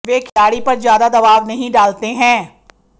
वे खिलाड़ी पर ज्यादा दबाव नहीं डालते हैं